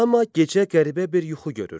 Amma gecə qəribə bir yuxu görür.